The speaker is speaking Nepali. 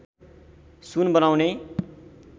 सुन बनाउने